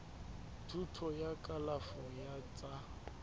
thuto ya kalafo ya tsa